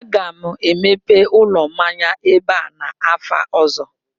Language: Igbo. aga m emepe ụlọ mmanya ebe a n'afọ ọzọ